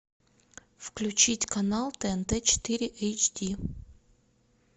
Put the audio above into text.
включить канал тнт четыре эйч ди